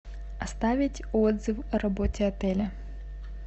оставить отзыв о работе отеля